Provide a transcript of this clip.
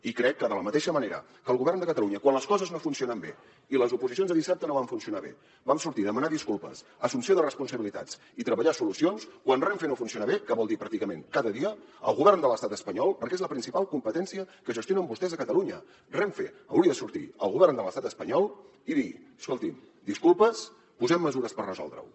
i crec que de la mateixa manera que el govern de catalunya quan les coses no funcionen bé i les oposicions de dissabte no van funcionar bé sortim a demanar disculpes assumpció de responsabilitats i treballar solucions quan renfe no funciona bé què vol dir pràcticament cada dia el govern de l’estat espanyol perquè és la principal competència que gestionen vostès a catalunya renfe hauria de sortir el govern de l’estat espanyol i dir escolti’m disculpes posem mesures per resoldre ho